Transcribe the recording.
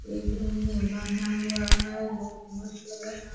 एक रूम में बाँधा हुआ है बहुत मस्त लग रहा --